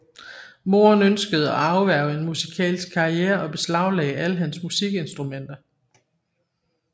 Moderen ønskede at afværge en musikalsk karriere og beslaglagde alle hans musikinstrumenter